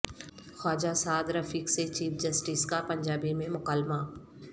خواجہ سعد رفیق سے chief justice کا پنجابی میں مکالمہ